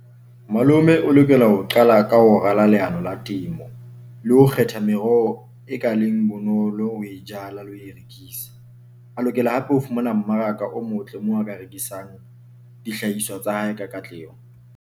Malome o lokela ho qala ka ho rala leano la temo le ho kgetha meroho e ka bonolo ho e jala le ho e rekisa. A lokela hape ho fumana mmaraka o motle moo a ka rekisang dihlahiswa tsa hae ka katleho.